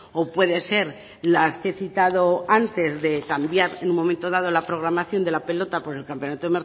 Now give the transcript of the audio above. o puede ser las que he citado antes de cambiar en un momento dado la programación de la pelota por el campeonato